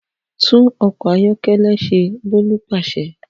Tunṣe ọkọ ayọkẹlẹ Bolu paṣẹ